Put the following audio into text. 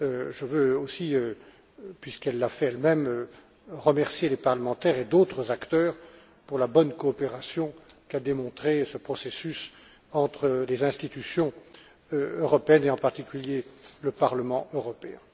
Je veux aussi, puisqu'elle l'a fait elle même, remercier les parlementaires et d'autres acteurs pour la bonne coopération qu'a démontrée ce processus entre les institutions européennes, et en particulier le Parlement européen.